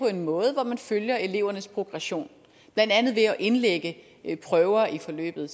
en måde hvor man følger elevernes progression blandt andet ved at indlægge prøver i forløbet